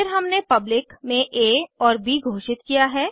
फिर हमने पब्लिक में आ और ब घोषित किया है